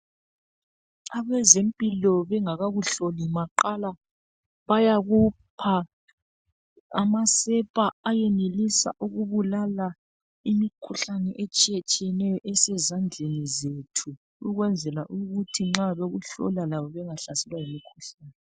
Abezempilo bengakakuhloli maqala bayakupha amasepa ayenelisa ukubulala imikhuhlane etshiyetshiyeneyo esezandleni zethu ukwenzela ukuthi nxa bekuhlola labo bangahlaselwa yimikhuhlane.